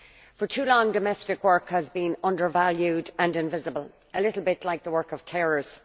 For too long, domestic work has been undervalued and invisible, a little bit like the work of carers.